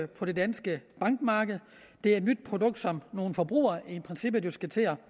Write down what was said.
på det danske bankmarked det er et nyt produkt som nogle forbrugere i princippet jo skal til at